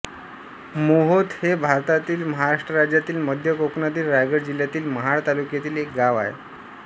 मोहोत हे भारतातील महाराष्ट्र राज्यातील मध्य कोकणातील रायगड जिल्ह्यातील महाड तालुक्यातील एक गाव आहे